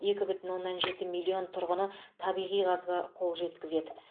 екі бүтін оннан жеті миллион тұрғыны табиғи газға қол жеткізеді